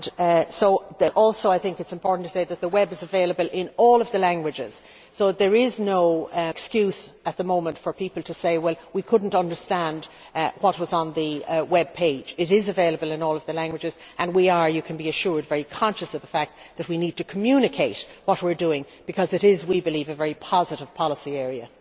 It is also important to say that the web is available in all of the languages, so there is no excuse at the moment for people to say they could not understand what was on the webpage. It is available in all of the languages and we are, you can be assured, very conscious of the fact that we need to communicate what we are doing because it is, we believe, a very positive policy area.